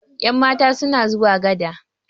yanmata suna zuwa gada